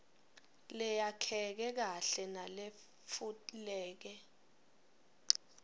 leyakheke kahle naletfuleke